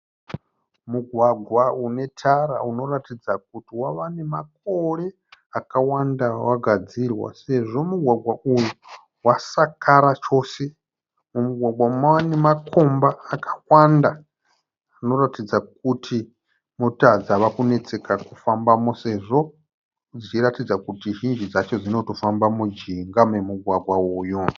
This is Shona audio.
Mugwagwa une tara unoratidza kuti wava namakore akawanda wagadzirwa sezvo mugwagwa uyu wasakara chose. Mumugwagwa umu mava nemakomba akawanda. Unoratidza kuti mota dzava kunetseka kufambamo sezvo zvichiratidza kuti zhinji dzacho dzinotofamba mujinga momugwagwa uyu.